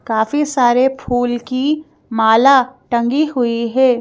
काफी सारे फूल की माला टंगी हुई है।